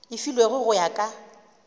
e filwego go ya ka